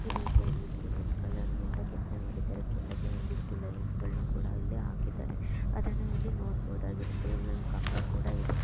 ಈ ರೀತಿಯಾಗಿ ಇದನ್ನ ರೆಡ್ ಕಲರ್ ಇಂದ ಕೆತ್ತನೆ ಮಾಡಿದ್ದಾರೆ ಕೆಳಗೆ ಒಂದಿಷ್ಟು ಲೈನ್ಸ್ ಗಳನ ಕೂಡಾ ಇಲ್ಲಿ ಹಾಕಿದಾರೆ ಅದನ್ನ ಇಲ್ಲಿ ನೋಡಬಹುದಾಗಿರುತ್ತೆ ಇಲ್ಲಿ ಒಂದು ಕಂಬ ಕೂಡಾ ಇದೆ